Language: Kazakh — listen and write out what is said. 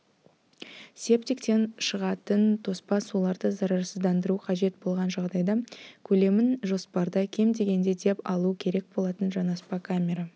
септиктен шығатын тоспа суларды зарарсыздандыру қажет болған жағдайда көлемін жоспарда кем дегенде деп алу керек болатын жанаспа камера